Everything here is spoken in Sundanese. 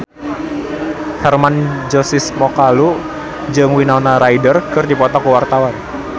Hermann Josis Mokalu jeung Winona Ryder keur dipoto ku wartawan